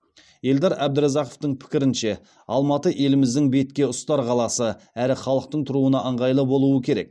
елдар әбдіразақовтың пікірінше алматы еліміздің бетке ұстар қаласы әрі халықтың тұруына ыңғайлы болуы керек